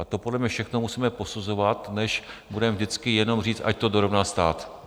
A to podle mě všechno musíme posuzovat, než budeme vždycky jenom říkat, ať to dorovná stát.